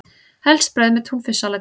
Helst brauð með túnfisksalati.